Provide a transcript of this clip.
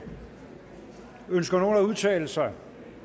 ønsker nogen at udtale sig